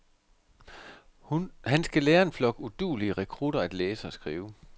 Han skal lære en flok uduelige rekrutter at læse og skrive.